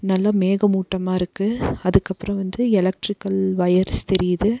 நல்ல மேக மூட்டமா இருக்கு அதுக்கு அப்பரோ வந்து எலக்ட்ரிக்கல் ஒயர்ஸ் தெரியுது.